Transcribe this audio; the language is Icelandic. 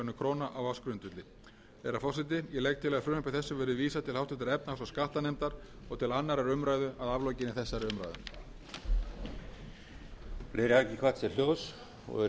og fimm milljónir króna á ársgrundvelli virðulegi forseti ég legg til að frumvarpinu verði vísað til háttvirtrar efnahags og skattanefndar og til annarrar umræðu að aflokinni þessari umræðu